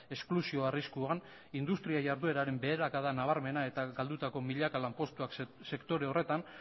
esklusio arriskuan industria jardueraren beherakada nabarmena eta galdutako milaka lanpostuak sektore horretan